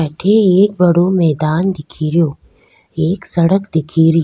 अठ एक बड़ो मैदान दिखेरो एक सड़क दिख री।